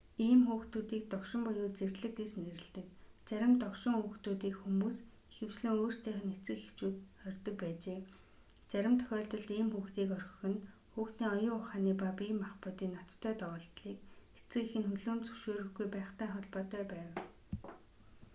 ийм хүүхдүүдийг догшин буюу зэрлэг гэж нэрлэдэг. зарим догшин хүүхдүүдийг хүмүүс ихэвчлэн өөрсдийнх нь эцэг эхчүүд хорьдог байжээ; зарим тохиолдолд ийм хүүхдийг орхих нь хүүхдийн оюун ухааны ба бие махбодын ноцтой доголдолыг эцэг эх нь хүлээн зөвшөөрөхгүй байхтай холбоотой байв